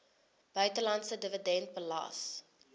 buitelandse dividend belas